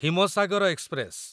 Himsagar express